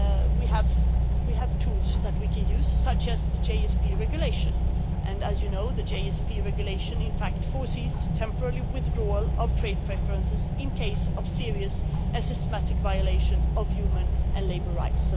We have tools we can use such as the GSP Regulation, and as you know the GSP Regulation in fact foresees temporary withdrawal of trade preferences in case of serious and systematic violation of human and labour rights.